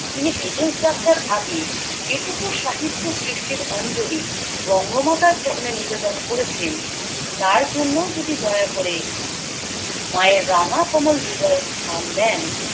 তিনি বিদেশ যাত্রার আগে যেটুকু সাহিত্য সৃষ্টির অঞ্জলি বঙ্গমাতার চরণে নিবেদন করেছেন তার জন্যে যদি দয়া করে মায়ের রাঙা কমল হৃদয়ে স্থান দেন